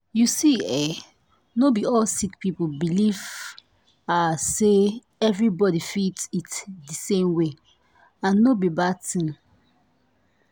you see eh not be all sick people believe ah say everybody fit eat di same way and no be bad tin.